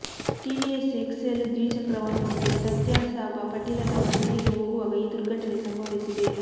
TVS X L ದ್ವಿಚಕ್ರ ವಾಹನದ ಮೇಲೆ ತಾತ್ಯಾಸಾಬ ಪಾಟೀಲ ತಮ್ಮ ಮನೆಗೆ ಹೋಗುವಾಗ ಈ ದುರ್ಘಟನೆ ಸಂಭವಿಸಿದೆ